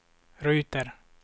ruter